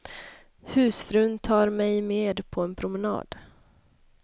Husfrun tar mig med på en promenad.